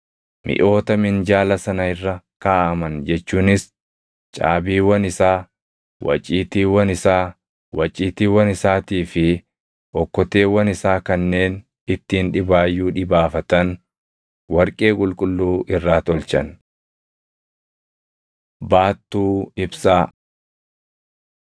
Miʼoota minjaala sana irra kaaʼaman jechuunis caabiiwwan isaa, waciitiiwwan isaa, waciitiiwwan isaatii fi okkoteewwan isaa kanneen ittiin dhibaayyuu dhibaafatan warqee qulqulluu irraa tolchan. Baattuu Ibsaa 37:17‑24 kwf – Bau 25:31‑39